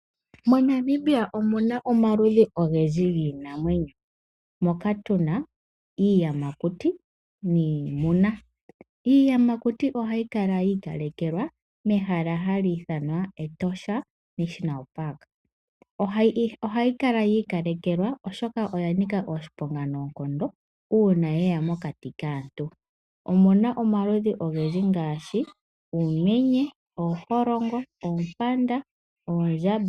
MoNAmibia omu na omaludhi ogendji giinamwenyo. Moka tu na iiyamakuti niimuna. Iiyamakuti ohayi kala yi ikalekelwa mehala hali ithanwa Etosha National Park. Ohayi kala yi ikalekelwa, oshoka oya nika oshiponga uuna ye ya mokati kaantu. Omu na omaludhi ogendji ngaashi, uumenye, ooholongo, oompanda noondjamba.